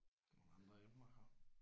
Er der nogle andre emner her?